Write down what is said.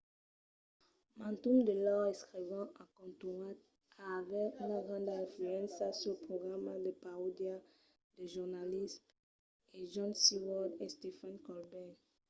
mantun de lors escrivans a contunhat a aver una granda influéncia suls programas de paròdia de jornalisme de jon stewart e stephen colbert